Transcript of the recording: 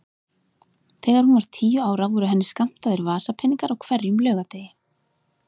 Þegar hún var tíu ára voru henni skammtaðir vasapeningar á hverjum laugardegi.